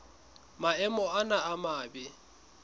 maemo ana a mabe a